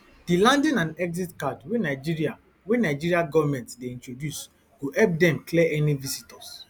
di landing and exit card wey nigeria wey nigeria govment dey introduce go help dem clear any visitors